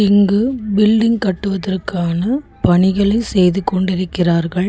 இங்கு பில்டிங் கட்டுவதற்கான பணிகளை செய்து கொண்டிருக்கிறார்கள்.